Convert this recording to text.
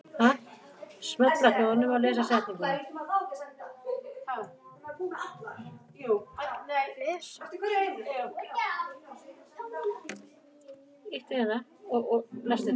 Við, tæknivæddir íbúar Evrópu, Norður-Ameríku og nokkurra fleiri landa, erum enn undantekning í sögu mannkynsins.